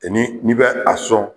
yani n'i bɛ a sɔn